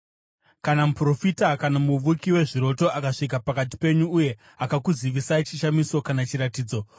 Kana muprofita, kana muvuki wezviroto, akasvika pakati penyu uye akakuzivisai chishamiso kana chiratidzo,